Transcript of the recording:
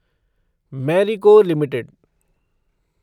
Marico limited